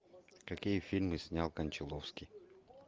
какие фильмы снял кончаловский